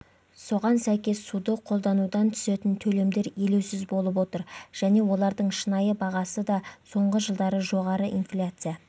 соған сәйкес суды қолданудан түсетін төлемдер елеусіз болып отыр және олардың шынайы бағасы да соңғы жылдары жоғары инфляция